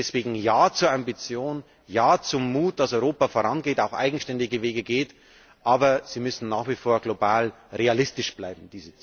Deswegen Ja zur Ambition, Ja zum Mut, dass Europa vorangeht, auch eigenständige Wege geht, aber diese Ziele müssen nach wie vor global und realistisch bleiben.